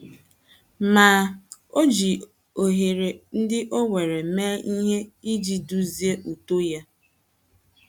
Ma,, o jiri ohere ndị o nwere mee ihe iji duzie uto ya.